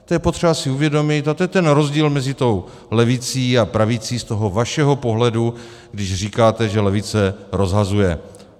To je potřeba si uvědomit a to je ten rozdíl mezi tou levicí a pravicí z toho vašeho pohledu, když říkáte, že levice rozhazuje.